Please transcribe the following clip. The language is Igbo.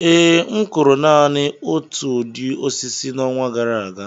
Ee, m kụrụ naanị otu ụdị osisi n'ọnwa gara aga